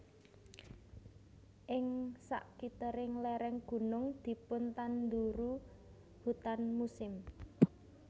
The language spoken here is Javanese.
Ing sakitering lereng gunung dipun tanduru hutan musim